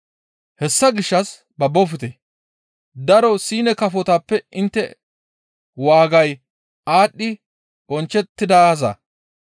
Hessa gishshas babbofte. Daro siine kafotappe intte waagay aadhdhi bonchchettidaaza.